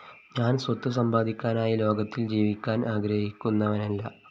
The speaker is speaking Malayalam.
ഞാന്‍സ്വത്ത് സമ്പാദിക്കാനായി ലോകത്തില്‍ ജീവിക്കാന്‍ ആഗ്രഹിക്കുന്നവനല്ല